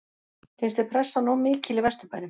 Finnst þér pressan of mikil í Vesturbænum?